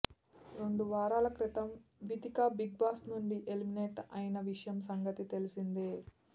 రెండు వారాల క్రితం వితిక బిగ్ బాస్ నుంచి ఎలిమినెట్ అయిన సంగతి తెలిసిందే